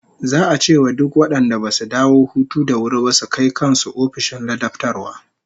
Za'a ce wa duk wadanda basu dawo hutu da wuri ba su kai kan su ofishin ladabtarwa